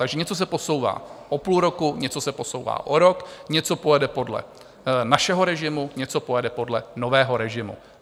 Takže něco se posouvá o půl roku, něco se posouvá o rok, něco pojede podle našeho režimu, něco pojede podle nového režimu.